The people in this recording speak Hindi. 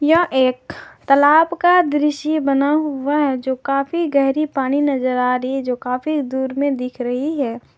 यह एक तालाब का दृश्य बना हुआ है जो काफी गहरी पानी नजर आ रही जो काफी दूर में दिख रही है।